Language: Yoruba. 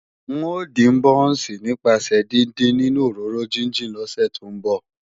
N ó dín bọ́ọ̀nsì nípasẹ̀ díndín nínú òróró jíjìn lọ́sẹ̀ tí ń bọ̀